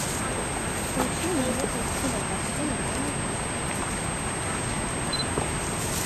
включи мне кинокартину манифеста